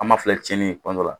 An b'a filɛ tiɲɛni ye tuma dɔ la